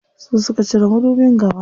Su suka cire madubin gaba.